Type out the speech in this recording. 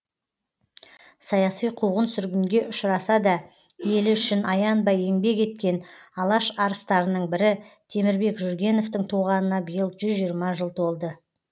саяси қуғын сүргінге ұшыраса да елі үшін аянбай еңбек еткен алаш арыстарының бірі темірбек жүргеновтың туғанына биыл жүз жиырма жыл толды